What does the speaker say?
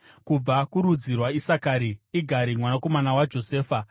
kubva kurudzi rwaIsakari, Igari mwanakomana waJosefa;